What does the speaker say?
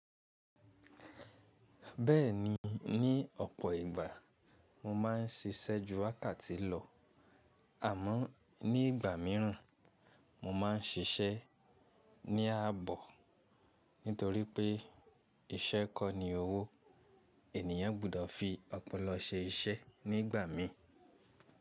Bẹ́ẹ̀ni, ní ọ̀pọ̀ ìgbà mo máa ń ṣiṣẹ́ ju wákàtí lọ, àmọ́ ní ìgbà míràn mo máa ń ṣiṣẹ́ ní àbọ̀. Nítorí pé iṣẹ́ kọ́ ni owó, ènìyàn gbọ́dọ̀ fi opolo ṣe iṣẹ́ nígbà mìí.